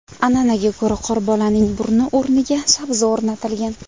An’anaga ko‘ra qorbolaning burni o‘rniga sabzi o‘rnatilgan.